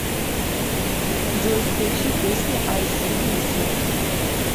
джой включи песни ай си диси